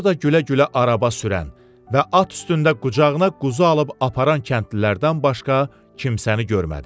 Orada gülə-gülə araba sürən və at üstündə qucağına quzu alıb aparan kəndlilərdən başqa kimsəni görmədi.